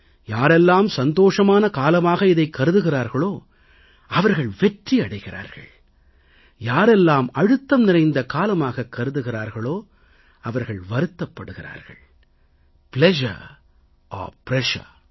யாரெல்லாம் சந்தோஷமான காலமாக இதைக் கருதுகிறார்களோ அவர்கள் வெற்றி அடைகிறார்கள் யாரெல்லாம் அழுத்தம் நிறைந்த காலமாக கருதுகிறார்களோ அவர்கள் வருத்தப் படுகிறார்கள் பிளஷர் ஒர் பிரஷர்